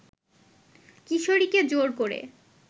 কিশোরীকে জোর করে